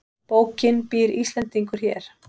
Bókin Býr Íslendingur hér?